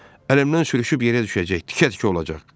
Əlimdən sürüşüb yerə düşəcək, tikə-tikə olacaq.